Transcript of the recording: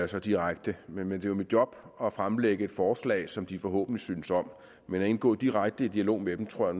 så direkte men det er jo mit job at fremlægge forslag som de forhåbentlig synes om men at indgå direkte i dialog med dem tror